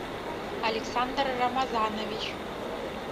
александр рамазанович